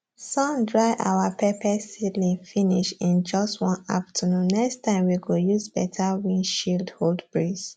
sun dry our pepper seedling finish in just one afternoonnext time we go use better wind shield hold breeze